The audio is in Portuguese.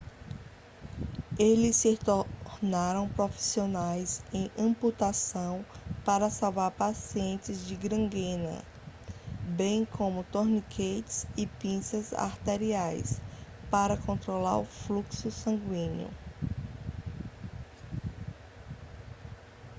eles se tornaram profissionais em amputação para salvar pacientes de gangrena bem como torniquetes e pinças arteriais para controlar o fluxo sanguíneo